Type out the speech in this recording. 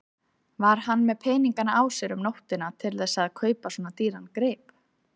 Var hann með peninga á sér um nóttina til þess að kaupa svona dýran grip?